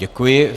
Děkuji.